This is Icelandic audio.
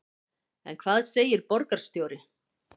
En hvað segir borgarstjóri?